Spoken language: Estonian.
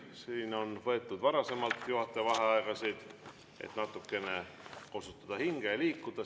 Siin on võetud juhataja vaheaegasid, et natukene kosutada hinge ja liikuda.